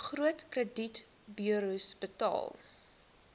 groot kredietburos betaal